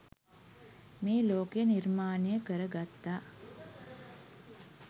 මේ ලෝකය නිර්මාණය කරගත්තා